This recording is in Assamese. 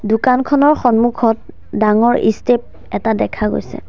দোকানখনৰ সন্মুখত ডাঙৰ ষ্টেপ এটা দেখা গৈছে।